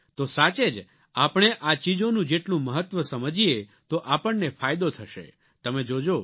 તો સાચે જ આપણે આ ચીજોનું જેટલું મહત્વ સમજીએ તો આપણને ફાયદો થશે તમે જોજો